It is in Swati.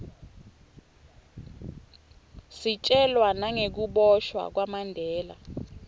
sitjelwa nagekubosha kwamandela